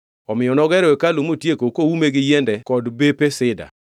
Omiyo nogero hekalu motieko koume gi yiende kod bepe Sida.